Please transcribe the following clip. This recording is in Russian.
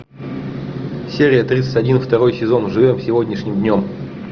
серия тридцать один второй сезон живем сегодняшним днем